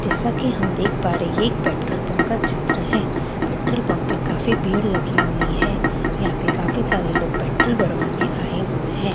जैसा की हम देख पा रहे है ये एक पेट्रोल पम्प का चित्र है पेट्रोल पम्प पे काफ़ी भीड़ लगी हुई है यहाँपे काफ़ी सारे लोग पेट्रोल भरवाने आये हुए है यहाँपे हम --